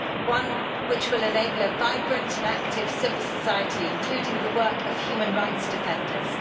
one which will enable a vibrant and active civil society, including the work of human rights defenders.